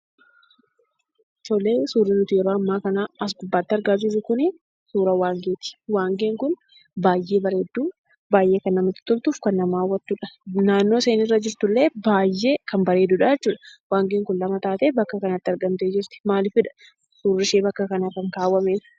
Suurri nuti yeroo ammaa kana asirratti argaa jirru kun suuraa waangeeti. Waangeen kun baay'ee bareedduu, baay'ee kan namatti toltuu fi kan nama hawwattudha. Naannoo isheen irra jirtullee baay'ee kan bareedudha jechuudha. Waangeen kun lama taatee bakka kanatti argamtee jirti maaliifidha suurri ishee bakka kanarra kan kaawwameef?